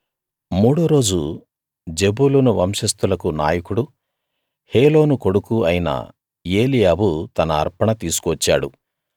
మూడో రోజు జెబూలూను వంశస్తులకు నాయకుడూ హేలోను కొడుకూ అయిన ఏలీయాబు తన అర్పణ తీసుకు వచ్చాడు